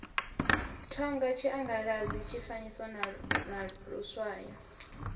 thonga tshiangaladzi tshifanyiso na luswayo